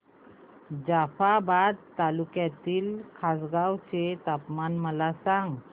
जाफ्राबाद तालुक्यातील खासगांव चे तापमान मला सांग